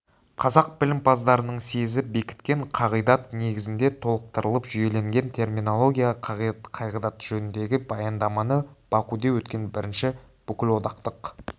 қазақ білімпаздарының съезі бекіткен қағидат негізінде толықтырылып жүйеленген терминология қағидаттары жөніндегі баяндаманы бакуде өткен бірінші бүкілодақтық